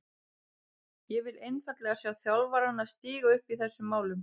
Ég vil einfaldlega sjá þjálfarana stíga upp í þessum málum.